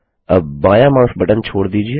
अब बायाँ mouse button छोड़ दीजिए